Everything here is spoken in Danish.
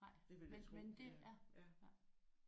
Men men det ja